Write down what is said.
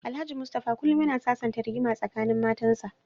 Alhaji Mustapha kullum yana sasanta rigima tsakanin matansa.